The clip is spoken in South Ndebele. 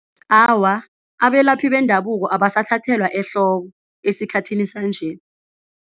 Awa, abelaphi bendabuko abasathathelwa ehloko esikhathini sanje.